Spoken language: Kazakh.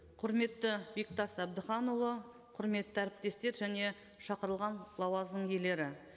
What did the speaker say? құрметті бектас әбдіханұлы құрметті әріптестер және шақырылған лауазым иелері